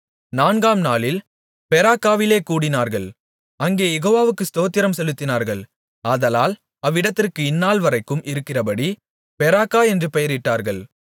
நான்காம் நாளில் பெராக்காவிலே கூடினார்கள் அங்கே யெகோவாவுக்கு ஸ்தோத்திரம் செலுத்தினார்கள் ஆதலால் அவ்விடத்திற்கு இந்நாள்வரைக்கும் இருக்கிறபடி பெராக்கா என்று பெயரிட்டார்கள்